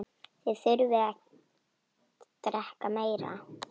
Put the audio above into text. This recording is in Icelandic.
Þið þurfið að drekka meira.